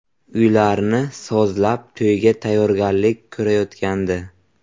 Uylarni sozlab, to‘yga tayyorgarlik ko‘rayotgandi.